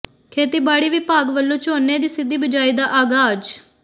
ਖੇਤੀਬਾੜੀ ਵਿਭਾਗ ਵੱਲੋਂ ਝੋਨੇ ਦੀ ਸਿੱਧੀ ਬਿਜਾਈ ਦਾ ਆਗਾਜ਼